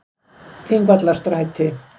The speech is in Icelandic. Þingvallastræti